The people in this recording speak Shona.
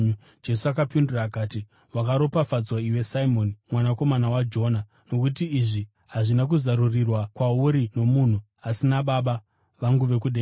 Jesu akapindura akati, “Wakaropafadzwa iwe Simoni mwanakomana waJona, nokuti izvi hazvina kuzarurirwa kwauri nomunhu asi naBaba vangu vari kudenga.